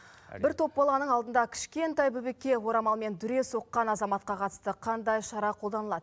бір топ баланың алдында кішкентай бөбекке орамалмен дүре соққан азаматқа қатысты қандай шара қолданылады